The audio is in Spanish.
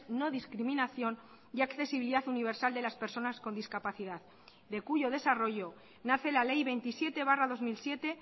no discriminación y accesibilidad universal de las personas con discapacidad de cuyo desarrollo nace la ley veintisiete barra dos mil siete